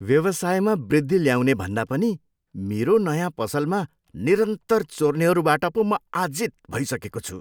व्यवसायमा वृद्धि ल्याउनेभन्दा पनि मेरो नयाँ पसलमा निरन्तर चोर्नेहरूबाट पो म आजित भइसकेको छु।